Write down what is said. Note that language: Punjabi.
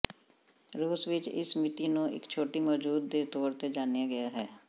ਰੂਸ ਵਿਚ ਇਸ ਮਿਤੀ ਨੂੰ ਇੱਕ ਛੁੱਟੀ ਮੌਜੂਦ ਦੇ ਤੌਰ ਤੇ ਜਾਣਿਆ ਗਿਆ ਹੈ